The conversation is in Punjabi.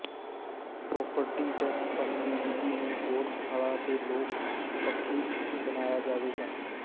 ਪ੍ਰਾਪਰਟੀ ਟੈਕਸ ਭਰਨ ਦੀ ਵਿਧੀ ਨੂੰ ਹੋਰ ਸੁਖਾਲਾ ਤੇ ਲੋਕ ਪੱਖੀ ਬਣਾਇਆ ਜਾਵੇਗਾ